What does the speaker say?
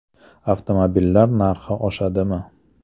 Avtomobillar narxi oshadimi?